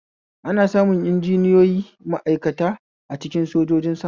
Ana samun injiniyoyi ma'aikata a cikin sojojin sama